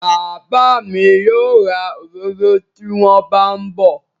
Bàbá mi yóò ra òróró tí wón bá ń bọ̀